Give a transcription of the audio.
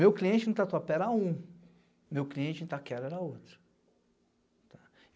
Meu cliente em Tatuapé era um, meu cliente em Itaquera era outro.